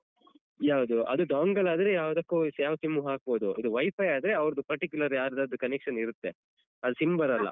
ಯಾವ್ದು ಅದು dongle ಆದ್ರೆ ಯಾವ್ದಕ್ಕೂ ಯಾವ sim ಹಾಕ್ಬೋದು ಇದು WiFi ಆದ್ರೆ ಅವ್ರ್ದು particular ಯಾರ್ದಾದ್ರು connection ಇರುತ್ತೆ ಅಲ್ sim ಬರಲ್ಲ.